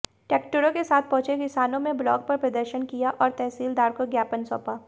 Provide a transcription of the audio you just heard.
ट्रैक्टरों के साथ पहुंचे किसानों में ब्लॉक पर प्रदर्शन किया और तहसीलदार को ज्ञापन सौंपा